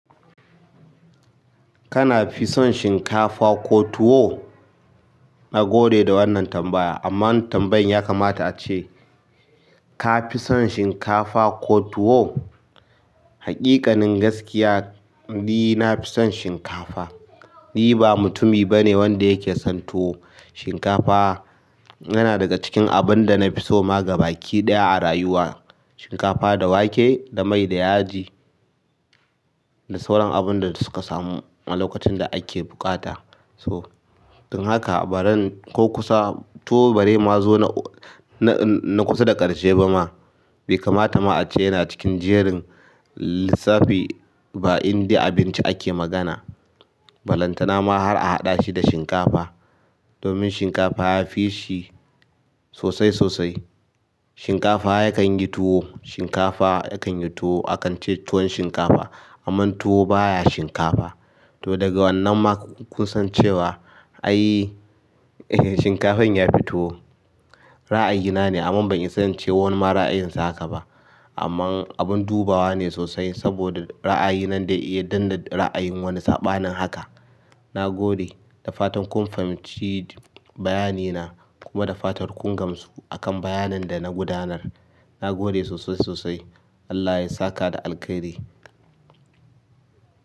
Kana fi son shinkafa ko tuwo? Na gode da wannan tambaya amma tambayan yakamata ace, ka fi son shinkafa ko tuwo? Haƙiƙanin gaskiya, ni na fi son shinkafa. Ni ba mutumi bane wanda yake son tuwo. Shinkafa yana daga cikin abun da na fi so ma gabaki ɗaya a rayuwa. Shinkafa da wake da mai da yaji da sauran abun da suka samu a lokacin da ake buƙata. So, don haka a baran ko kusa tuwo bare ma zo na, na kusa da ƙarshe ba ma. Bai kamata ace yana cikin jerin lissafi ba indai abinci ake magana balantana ma har a haɗa shi da shinkafa domin shinkafa ya fi shi sosai sosai. Shinkafa yakan yi tuwo, shinkafa yakan yi tuwo. Akan ce tuwon shinkafa amma tuwo baya shinkafa. To daga wannan ma kun san cewa ai shinkafan ya fi tuwo. Ra'ayi na ne amma ban iya sancewa wani ma ra'ayinsa haka ba. Amma abun dubawa ne sosai saboda ra'ayi nan dai iya danna ra'ayin wani saɓa nin haka. Na gode da fatan kun fahimci bayani na kuma da fatar kun gamsu akan bayanin da na gudanar. Na gode sosai sosai. Allah ya saka da alkhairi.